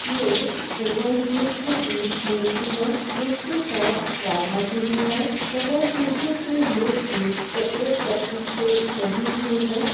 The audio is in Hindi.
ये भगवान कृष्ण की मूर्ति है उनके साथ राधा जी भी है भगवान कृष्ण की ये मूर्ति सफेद पत्थर से बनी हुई है।